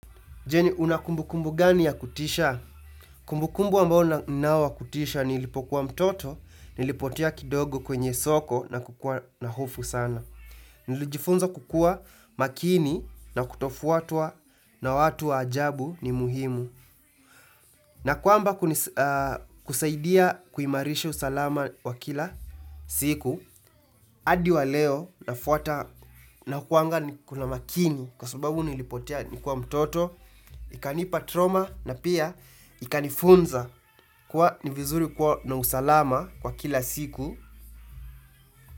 Je, una kumbukumbu gani ya kutisha? Kumbukumbu ambao ninao wa kutisha nilipokuwa mtoto, nilipotea kidogo kwenye soko na kukuwaa na hofu sana. Nilijifunza kukuwa makini na kutofwatwa na watu wa ajabu ni muhimu. Na kwamba kusaidia kuimarisha usalama wa kila siku. Adi wa leo nafuata nakuanga niko na makini kwa subabu nilipotea nikiwa mtoto Ikanipa ''trauma'' na pia ikanifunza kuwa ni vizuri kuwa na usalama kwa kila siku.